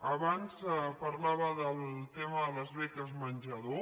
abans parlava del tema de les beques menjador